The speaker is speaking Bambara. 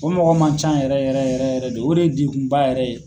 O mɔgɔ man ca yɛrɛ yɛrɛ yɛrɛ yɛrɛ de o de ye degun ba yɛrɛ ye.